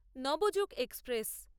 Navyug express